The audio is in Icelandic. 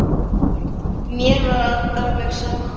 Mér var alveg sama.